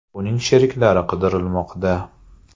Uning sheriklari qidirilmoqda.